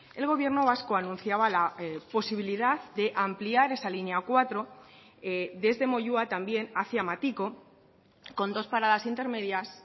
el gobierno vasco anunciaba la posibilidad de ampliar esa línea cuatro desde moyua también hacia matiko con dos paradas intermedias